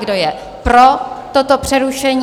Kdo je pro toto přerušení?